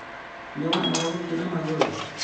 Nĩwanoga gũthiĩ na magũrũ?